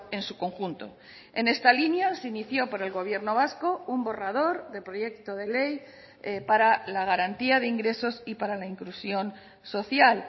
en su conjunto en esta línea se inició por el gobierno vasco un borrador de proyecto de ley para la garantía de ingresos y para la inclusión social